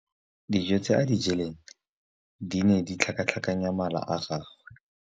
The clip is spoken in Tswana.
Dijô tse a di jeleng di ne di tlhakatlhakanya mala a gagwe.